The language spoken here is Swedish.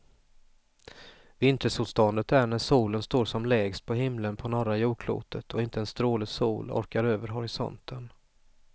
Vintersolståndet är när solen står som lägst på himlen på norra jordklotet och inte en stråle sol orkar över horisonten.